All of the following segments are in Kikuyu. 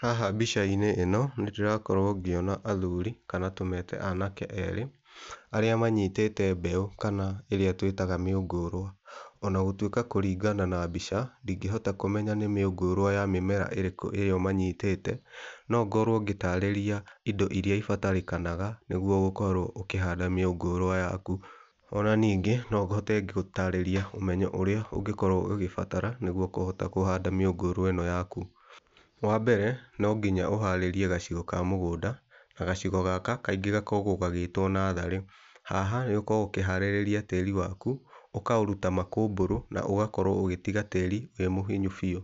Haha mbica-inĩ ĩno nĩndĩrakorwo ngĩona athuri kana tũmete anake erĩ, arĩa manyitĩte mbeu kana ĩrĩa tũĩtaga mĩũngũrwa. Ona gũtuĩka kũringana na mbica ndingĩhota kũmenya nĩ mĩũngũrwa ya mĩmera ĩrĩkũ ĩrĩa manyitĩte, no ngorwo ngĩtarĩria indo iria ibatarĩkana nĩguo gũkorwo ũkĩhanda mĩũngũrwa yaku. Ona ningĩ no hote gũtarĩria ũmenyo ũrĩa ũngĩkorwo ũgĩbatara nĩguo kũhota kũhanda mĩũngũrwa ĩno yaku. Wambere no nginya ũharĩrie gacigo ka mũgũnda, na gacigo gaka kaingĩ gakoragwo gagĩtwo natharĩ. Haha nĩ ũkoragwo ũkĩharĩria tĩri waku ũkaũruta makũmbũrũ na ũgakorwo ũgĩtiga tĩri wĩ mũhinyu biũ.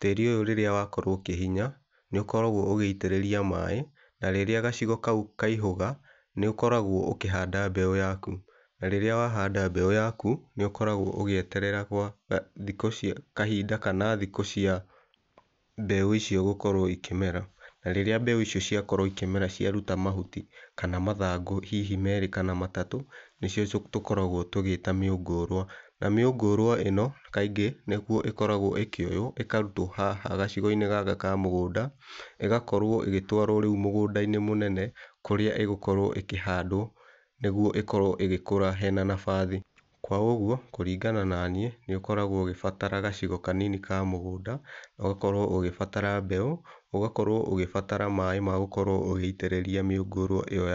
Tĩri ũyũ rĩrĩa wakorwo ũkĩhinya nĩũkoragwo ũgĩitĩrĩria maaĩ. Na rĩrĩa gacigo kau kaihũga nĩ ũkoragwo ũkĩhanda mbeũ yaku na rĩrĩa wahanda mbeũ yaku nĩ ũkoragwo ũgĩeterera gwathikũ cia kahinda kana thikũ cia mbeũ icio gũkorwo ikĩmera. Na rĩrĩa mbeũ icio ciakorwo ikĩmera ciaruta mahuti kana mathangũ hihi merĩ kana matatũ nĩcio tũkoragwo tũgĩta mĩũngũrwa. Na mĩũngũrwa ĩno kaingĩ nĩguo ĩkoragwo ĩkĩoywo ĩkarutwo haha gacigo-inĩ gaka ka mũgũnda ĩgakorwo rĩu ĩgĩtwarwo mũgũnda-inĩ mũnene kũrĩa ĩgũkorwo ĩkĩhandwo nĩguo ĩkorwo ĩgĩkũra hena nabathi. Kwa ũguo kũringana naniĩ nĩ ũkoragwo ũgĩbatara gacigo kanini ka mũgũnda, ũgakorwo ũgĩbatara mbeũ, ũgakorwo ũgĩbatara maaĩ ma gũkorwo ũgĩitĩrĩria mĩũngũrwa ĩyo.